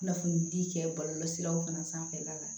Kunnafonidi kɛ bɔlɔlɔsiraw fana sanfɛla la